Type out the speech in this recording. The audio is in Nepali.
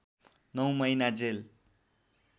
९ महिना जेल